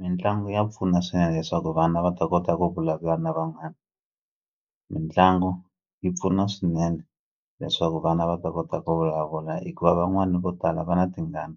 Mitlangu ya pfuna swinene leswaku vana va ta kota ku vulavula na van'wani mitlangu yi pfuna swinene leswaku vana va ta kota ku vulavula hikuva van'wani vo tala va na tingana